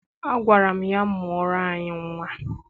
Agwara m ya, mụọrọ anyị nnwa!